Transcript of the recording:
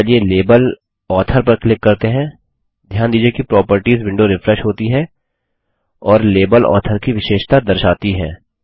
अब चलिए label author पर क्लिक करते हैं ध्यान दीजिये कि प्रॉपर्टीज विंडो रिफ्रेश होती है और लेबल ऑथर की विशेषता दर्शाती हैं